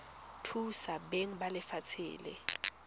thusa beng ba lefatshe la